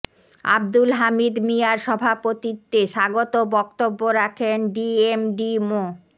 আবদুল হামিদ মিঞার সভাপতিত্বে স্বাগত বক্তব্য রাখেন ডিএমডি মো